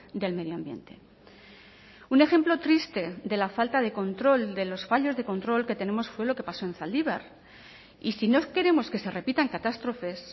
del medio ambiente un ejemplo triste de la falta de control de los fallos de control que tenemos fue lo que pasó en zaldibar y si no queremos que se repitan catástrofes